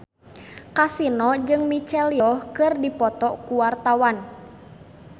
Kasino jeung Michelle Yeoh keur dipoto ku wartawan